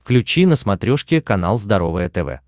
включи на смотрешке канал здоровое тв